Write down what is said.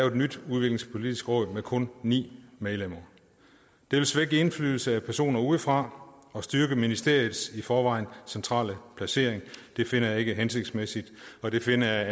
et nyt udviklingspolitisk råd med kun ni medlemmer det vil svække indflydelsen fra personer udefra og styrke ministeriets i forvejen centrale placering det finder jeg ikke er hensigtsmæssigt og det finder jeg